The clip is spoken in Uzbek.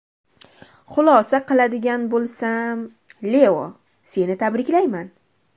Xulosa qiladigan bo‘lsam, Leo, seni tabriklayman.